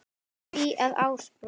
því að Ásbrú